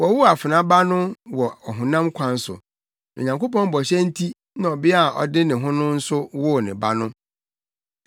Wɔwoo afena ba no wɔ ɔhonam kwan so, na Onyankopɔn bɔhyɛ nti na ɔbea a ɔde ne ho no nso woo ne ba no.